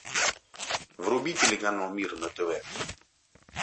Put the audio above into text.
вруби телеканал мир на тв